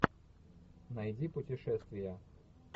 найди путешествия